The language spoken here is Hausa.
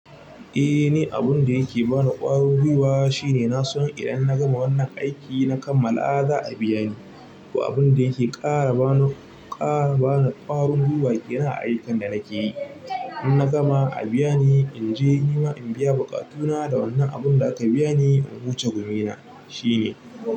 Eh ni abun da yake bani ƙwarin gwiwa shine na so idan na gama wannan aikin na kammala a za a biya ni. Abun da yake ƙara bani ƙwarin gwiwa yana aikan da nake yi. In na gama a biya ni in je nima in biya bukatuna da wannan abun da aka biya ni in wuce gumina shine.